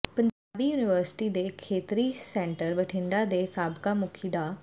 Punjabi university ਦੇ ਖੇਤਰੀ centre Bathinda ਦੇ ਸਾਬਕਾ ਮੁਖੀ ਡਾ